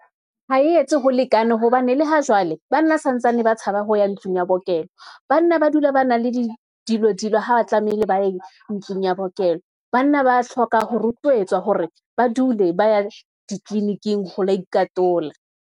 Ha e etse ho lekane, hobane le hajwale banna santsane ba tshaba ho ya ntlong ya bookelo, banna ba dula ba na le di dilo, ha ba tlamehile ba ye ntlong ya bookelo. Banna ba hloka ho rotluetswa hore ba dule ba ya ditleliniking, ho lo ikantola.